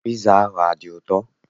Piza ahụ adị ụtọ?